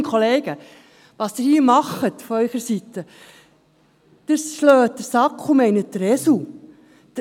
Kolleginnen und Kollegen, was Sie hier von Ihrer Seite her tun, ist, den Sack zu schlagen, aber den Esel zu meinen.